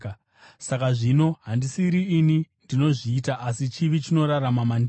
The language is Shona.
Saka zvino, handisiri ini ndinozviita, asi chivi chinorarama mandiri.